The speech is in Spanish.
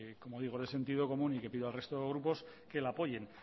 como digo es de sentido común y que pido al resto de grupos que la apoyen